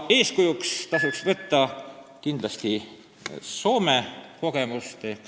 Eeskujuks tasuks kindlasti võtta ka Soome kogemust.